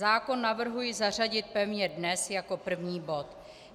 Zákon navrhuji zařadit pevně dnes jako první bod.